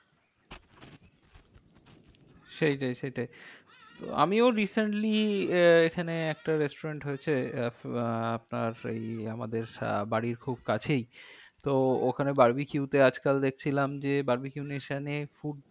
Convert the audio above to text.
সেইটাই সেইটাই আমিও recently আহ এখানে একটা restaurants হয়েছে। আহ আপনার সেই আমাদের আহ বাড়ির খুব কাছেই তো ওখানে বারবিকিউতে আজকাল দেখছিলাম যে food